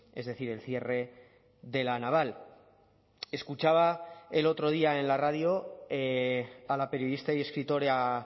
es decir el cierre de la naval escuchaba el otro día en la radio a la periodista y escritora